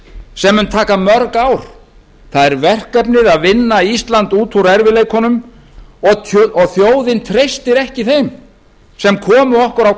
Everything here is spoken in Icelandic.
sem mun taka mörg ár það er verkefnið að vinna ísland út úr erfiðleikunum og þjóðin treystir ekki þeim sem komu okkar á